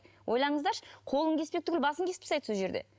ойланыңыздаршы қолын кеспек түгілі басын кесіп тастайды сол жерде